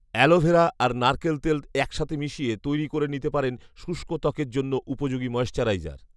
aloe vera আর নারকেল তেল একসাথে মিশিয়ে তৈরি করে নিতে পারেন শুষ্ক ত্বকের জন্য উপযোগী ময়েশ্চারাইজার